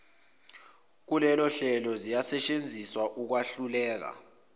kulolohlelo ziyasetshenziswa ukwahluleka